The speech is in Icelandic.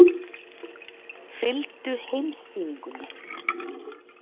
Fylgdu heimssýningunni.